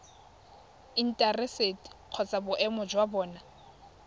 intaseteri kgotsa boemedi jwa bona